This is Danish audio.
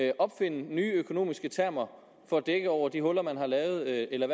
at opfinde nye økonomiske termer for at dække over de huller man har lavet eller